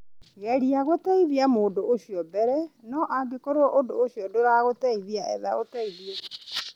Geria gũteithia mũndũ ũcio mbere, no angĩkorwo ũndũ ũcio ndũrateithia, etha ũteithio.